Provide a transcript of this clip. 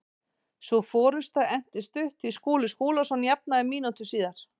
Sú forusta entist stutt því Skúli Skúlason jafnaði mínútu síðar.